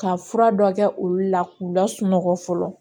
Ka fura dɔ kɛ olu la k'u lasunɔgɔ fɔlɔ